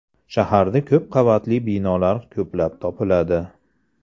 Shaharda ko‘p qavatli binolar ko‘plab topiladi.